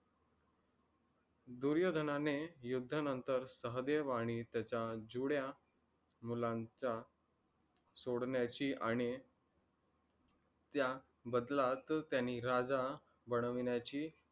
दुर्योधनाने युद्धानंतर सहदेव आणी त्याचा जुड्या मुलांचा सोडण्याची आणि त्या बदलात, त्यानी राजा बनविण्याची